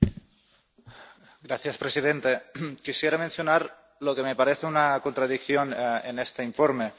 Señor presidente, quisiera mencionar lo que me parece una contradicción en este informe.